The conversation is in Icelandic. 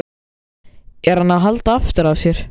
Er hann að halda aftur af sér?